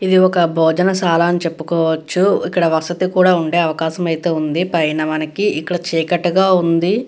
ఇది ఒక భోజన శాల అని చెప్పుకోవచ్చు. ఇక్కడ వసతి కూడా ఉండే అవకాశం అయితే ఉంది. పైన మనకి ఇక్కడ చీకటి గ ఉంది.